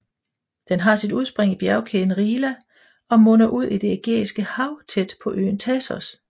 Den har sit udspring i bjergkæden Rila og munder ud i Det Ægæiske Hav tæt ved øen Thasos